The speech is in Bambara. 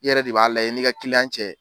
I yɛrɛ de b'a la i n'i ka kiliyan cɛ.